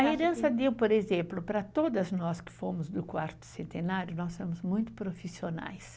A herança deu, por exemplo, para todas nós que fomos do quarto centenário, nós somos muito profissionais.